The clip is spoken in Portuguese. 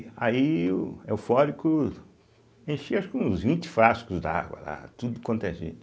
Aí eu, eufórico, enchi acho que uns vinte frascos d'água lá, tudo quanto é jeito